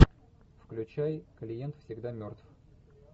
включай клиент всегда мертв